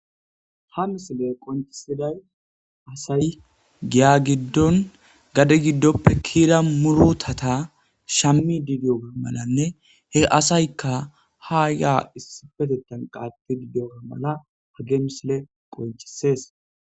Ha misile qoncisiday asay giya giddon gade giddoppe kiira murutata shammi didiyoga malanne he asaykka ha yaa issifetetan qatti didiyoga mala hageemisle qoncisees.